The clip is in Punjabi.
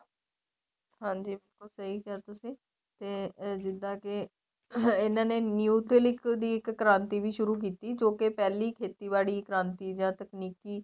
ਹਾਂਜੀ ਬਿਲਕੁਲ ਸਹੀ ਕਿਹਾ ਤਸੀ ਤੇ ਜਿੱਦਾ ਕੇ ਇਹਨਾ ਨੇ new ਤਿਲਕ ਦੀ ਇੱਕ ਕ੍ਰਾਂਤੀ ਵੀ ਸ਼ੁਰੂ ਕੀਤੀ ਜੋ ਕੇ ਪਹਿਲੀ ਖੇਤੀਬਾੜੀ ਕ੍ਰਾਂਤੀ ਜਾਂ ਤਕਨੀਕੀ